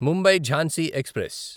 Mumbai Jhansi express